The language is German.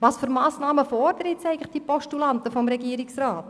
Welche Massnahmen fordern nun die Postulanten vom Regierungsrat?